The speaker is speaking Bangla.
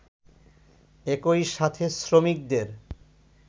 একই সাথে শ্রমিকদের